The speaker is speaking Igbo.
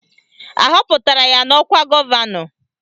Ahọpụtara ya n'ọkwa gọvanọ?